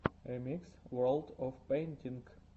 ремикс ворлд оф пэйнтинг